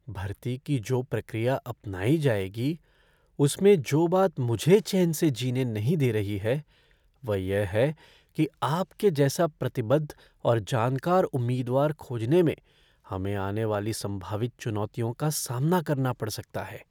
भर्ती की जो प्रक्रिया अपनाई जाएगी, उसमें जो बात जो मुझे चैन से जीने नहीं दे रही है वह यह है कि आपके जैसा प्रतिबद्ध और जानकार उम्मीदवार खोजने में हमें आने वाली संभावित चुनौतियों का सामना करना पड़ सकता है।